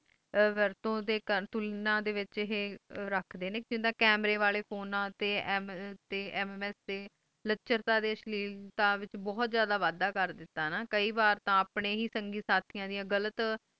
ਵਰਤੋਂ ਤੇ ਕਰ ਇਨਾਂ ਡੇ ਵਿਚ ਆਹੇ ਰੱਖਦੇ ਨੇ ਜਿੰਦਾਂ ਕੈਮਰੇ ਵਾਲੇ ਫੋਨਾਂ ਤੇ MMS ਤੇ ਸ਼ਲੇਵਤਾ ਵਿਚ ਬਹੁਤ ਜ਼ਿਆਦਾ ਵੱਡਾ ਕਰ ਦਿੱਤੋ ਹੈ ਨਾ ਕੇ ਵਾਰ ਤੇ ਆਪਣੇ ਹੈ ਸੰਗਿ ਸਾਥੀਆਂ ਦੀ ਗ਼ਲਤ ਵਰਤੋਂ ਡੇ ਕਰਨ